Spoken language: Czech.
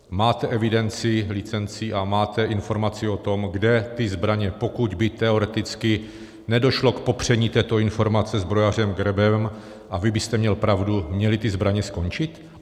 Máte evidenci licencí a máte informaci o tom, kde ty zbraně, pokud by teoreticky nedošlo k popření této informace zbrojařem Gebrevem a vy byste měl pravdu, měly ty zbraně skončit?